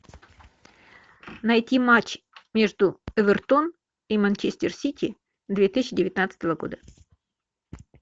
найти матч между эвертон и манчестер сити две тысячи девятнадцатого года